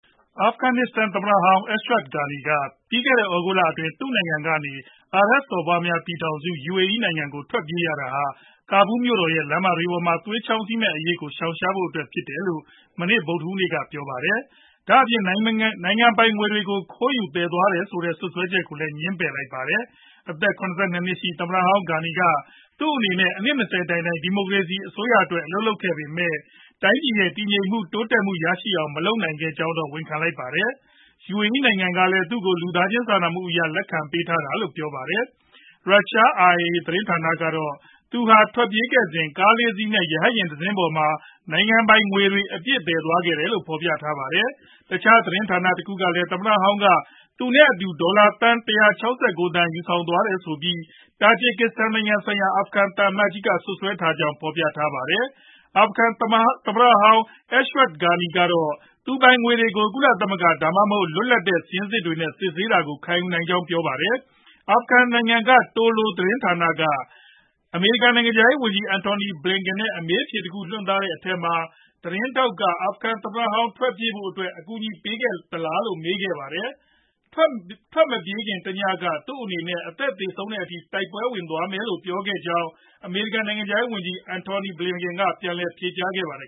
အာဖဂန်နစ္စတန် သမ္မတဟောင်း Ashraf Ghani က ပြီးခဲ့တဲ့သြဂုတ်လအတွင်း သူနိုင်ငံကနေ အာရပ်စော်ဘွားများပြည်ထောင်စု UAE နိုင်ငံကို ထွက်ပြေးရတာဟာ Kabul မြို့တော်ရဲ့ လမ်းတွေပေါ်မှာ သွေးချောင်းစီမယ့်အရေးကို ရှောင်ရှားဖို့အတွက်ဖြစ်တယ်လို့ မနေ့ ဗုဒ်ဓဟူးနေ့က ပြောပါတယ်။ ဒါအပြင် နိုင်ငံပိုင်ငွေတွေကိုလည်း ခိုးယူသယ်ဆောင်သွားတယ်ဆိုတဲ့ စွပ်စွဲချက်တွေကို ငြင်းပယ်လိုက်ပါတယ်။ အသက် ၇၂ နှစ်ရှိ သမ္မတဟောင်း Ghani က သူအနေနဲ့ အနှစ် ၂ဝ တိုင်တိုင် ဒီမိုကရေစီအစိုးရအတွက် အလုပ်လုပ်ခဲ့ပေမယ့် တိုင်းပြည်ရဲ့ တည်ငြိမ်မှု တိုးတက်မှုတွေ ရရှိအောင် မလုပ်နိုင်တဲ့အကြောင်း ဝန်ခံလိုက်ပါတယ်။ UAE နိုင်ငံကလည်း သူကို လူသားချင်းစာနာမှုအရ လက်ခံပေးတာလို့ပြောပါတယ်။ ရုရှား RIA သတင်းဌာနကတော့ သူဟာ ထွက်ပြေးခဲ့စဉ် ကားလေးစီး နဲ့ ရဟတ်ယာဉ်တစင်းပေါ်မှာ နိုင်ငံပိုင်ငွေတွေ အပြည့်သယ်ယူသွားတယ်လို့ဖော်ပြထားပါတယ်။ တခြားသတင်းဌာနတခုကလည်း သမ္မတဟောင်းက သူနဲ့အတူ ဒေါ်လာသန်း ၁၆၉ သန်းယူဆောင်သွားတယ်ဆိုပြီး တာဂျစ်ကစ္စတန်ဆိုင်ရာ အာဖဂန်သံအမတ်ကြီးက စွပ်စွဲထားကြောင်း ဖော်ပြပါတယ်။ အာဖဂန်သမ္မတဟောင်း Ashraf Ghani ကတော့ သူပိုင်ငွေတွေကို ကုလသမဂ္ဂ ဒါမှမဟုတ် လွတ်လပ်တဲ့ စာရင်းစစ်တွေနဲ့ စစ်ဆေးတာကို ခံယူနိုင်ကြောင်းပြောပါတယ်။ အာဖဂန်နစ္စတန်နိုင်ငံက TOLO သတင်းဌာနက အမေရိကန်နိုင်ငံခြားရေးဝန်ကြီး Antony Blinken အမေးအဖြေ တခုကို ထုတ်လွှင့်သွားတဲ့အထဲမှာ သတင်းထောက်က အာဖဂန်သမ္မတဟောင်း ထွက်ပြေးဖို့အတွက် အကူအညီပေးခဲ့သလားလို့မေးခဲ့ပါတယ်။ "သူထွက်မပြေးခင်တညက သူအနေနဲ့ အသက်သေဆုံးတဲ့အထိ တိုက်ပွဲဝင်သွားမယ်" လို့ ပြောသွားခဲ့တယ်လို့ အမေရိကန် နိုင်ငံခြားရေးဝန်ကြီး Antony Blinken က ဖြေကြားခဲ့ပါတယ်